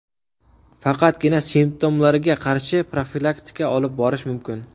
Faqatgina simptomlarga qarshi profilaktika olib borish mumkin.